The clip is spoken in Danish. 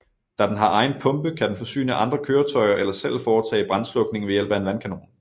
Da den har egen pumpe kan den forsyne andre køretøjer eller selv foretage brandslukning ved hjælp af en vandkanon